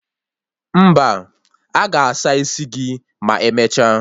Mba, aga asa isi gị ma emecha